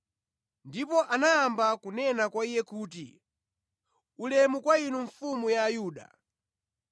Ndipo anayamba kunena kwa lye kuti, “Ulemu kwa inu Mfumu ya Ayuda!”